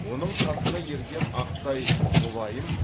оның қасына ерген ақтай мұлайым